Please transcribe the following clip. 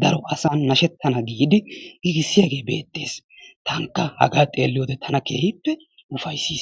daro asan nashettana giidi giigissiyagee beetees, tankka hagaa xeelliyode tana keehippe ufayssees.